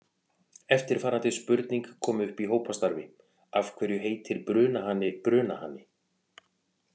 Eftirfarandi spurning kom upp í hópastarfi: Af hverju heitir brunahani brunahani?